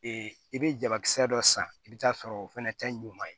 i bɛ jabakisɛ dɔ san i bɛ taa sɔrɔ o fɛnɛ tɛ ɲuguma ye